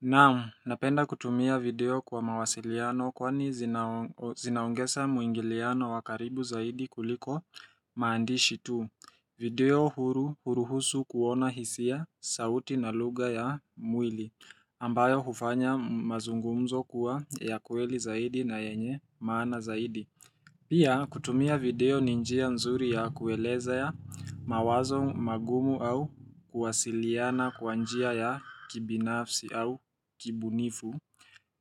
Naam, napenda kutumia video kwa mawasiliano kwani zinaungesa muingiliano wakaribu zaidi kuliko maandishi tu. Video huru huruhusu kuona hisia sauti na lugha ya mwili, ambayo hufanya mazungumzo kuwa ya kweli zaidi na yenye maana zaidi. Pia kutumia video ninjia mzuri ya kueleza ya mawazo magumu au kuwasiliana kwa njia ya kibinafsi au kibunifu.